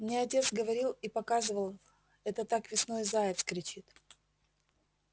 мне отец говорил и показывал это так весной заяц кричит